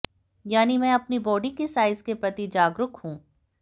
यानी मैं अपनी बॉडी के साइज के प्रति जागरूक हूं